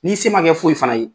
N'i se ma kɛ foyi fana ye.